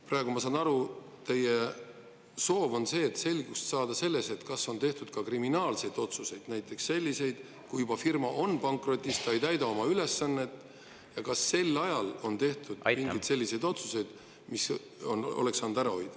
Praegu, ma saan aru, teie soov on selgust saada selles, kas on tehtud ka kriminaalseid otsuseid, näiteks kas sel ajal, kui firma oli juba pankrotis, ta ei täitnud oma ülesannet, tehti mingeid selliseid otsuseid, mida oleks saanud ära hoida.